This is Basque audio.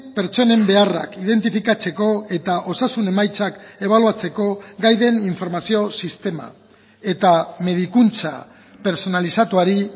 pertsonen beharrak identifikatzeko eta osasun emaitzak ebaluatzeko gai den informazio sistema eta medikuntza pertsonalizatuari